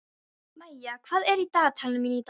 Maía, hvað er á dagatalinu mínu í dag?